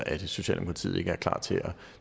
er socialdemokratiet ikke klar til at